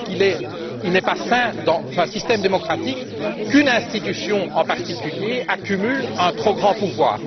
Je crois qu'il n'est pas sain, dans un système démocratique, qu'une institution en particulier accumule un trop grand pouvoir.